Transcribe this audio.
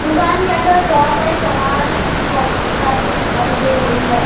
दुकान के अंदर बहोत सारे सामान कॉपी किताब भी दिखाई दे रही है।